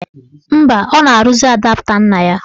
Mba, ọ na-arụzi adapta nna ya.